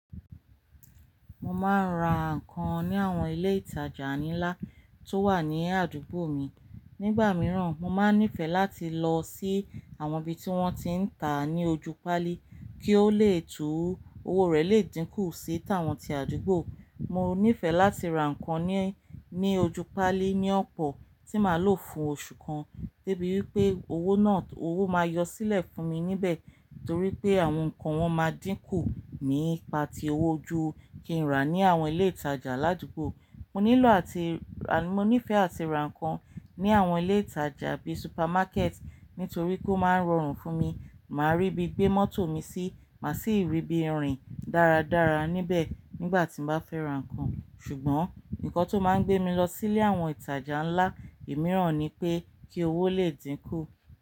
Mo máa ń ra ǹkan ní àwọn ilé ìtajà ńlá tó wà ní àdúgbò mi. Nígbà mìíràn, mo máa níìfẹ̀ láti lọ sí àwọn ibi tí wọ́n ti ń ta ní ojú pálí kí ó lè tú owó rẹ̀ lè dínkù sí tàwọn ti àdúgbò. Mo nífẹ̀ẹ́ láti ra ǹkan ní ojú pálí ní ọ̀pọ̀ tí máa lò fún oṣù kan, debi wipé owó náà owó máa yọ sílẹ̀ fún mi níbẹ̀ torí pé àwọn ǹkan wọn máa dínkù nípa ti owó ju kí n rà ní àwọn ilé ìtajà ládúgbò. Mo nílò àti ra, mo nífẹ̀ẹ́ àti ra ǹkan ní àwọn ilé ìtajà bí supermákẹ̀ẹ̀tì nítorí kó máa ń rọrùn fún mi. Máa ríbi gbé mọ́tò mi sí, mà sì ríbi rìn dáradára níbẹ̀ nígbà tí mo bá fẹ́ ra ǹkan. Ṣùgbọ́n ǹkan tó máa ń gbé mi lọ sílé àwọn ìtajà ńlá mìíràn ni pé kí owó lè dínkù.